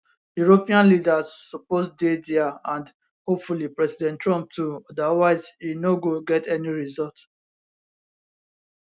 european leaders suppose dey dia and hopefully president trump too otherwise e no go get any result